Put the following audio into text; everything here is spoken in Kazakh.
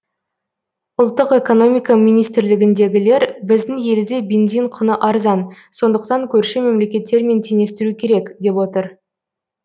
ұлттық экономика министрлігіндегілер біздің елде бензин құны арзан сондықтан көрші мемлекеттермен теңестіру керек деп отыр